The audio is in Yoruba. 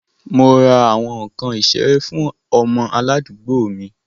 Mo ra awọn nkan isere fun ọmọ aladuugbo mi